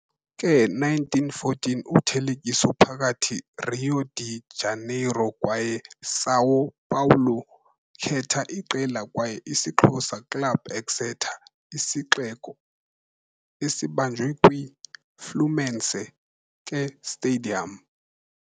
ke 1914 uthelekiso phakathi Rio de Janeiro kwaye São Paulo khetha iqela kwaye isixhosa club Exeter Isixeko, esibanjwe kwi - Fluminense ke stadium.